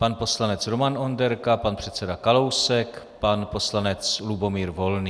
Pan poslanec Roman Onderka, pan předseda Kalousek, pan poslanec Lubomír Volný.